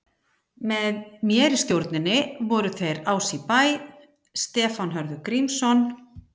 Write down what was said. Með mér í stjórninni voru þeir Ási í Bæ, Stefán Hörður Grímsson